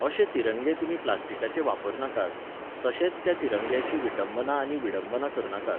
अशे तिरंगे तुमी प्लास्टिकाचे वापर नाकात, तशेंच त्या तिरंगाची विटंबना आनी विडंबना करनाकात